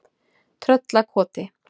Tröllakoti